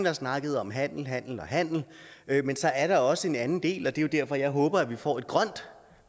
har snakket om handel handel og handel men så er der også en anden del og det er jo derfor jeg håber at vi får et grønt